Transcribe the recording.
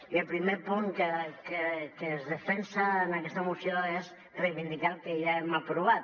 i el primer punt que es defensa en aquesta moció és reivindicar el que ja hem aprovat